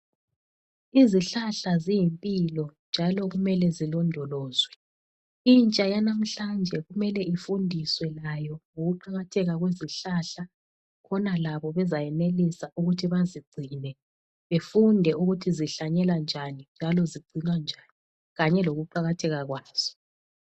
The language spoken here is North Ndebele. Izihlahla ziyimpilo njalo kumele zilondolozwe. Intsha yanamhlanje kumele ifundiswe layo ngokuqakatheka kwezihlahla khona labo bezayenelisa ukuthi bazigcine befunde ukuthi zihlanyelwa njani njalo zigcinwa njani, kanye lokuqakatheka kwazo.